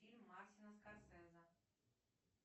фильм мартина скорсезе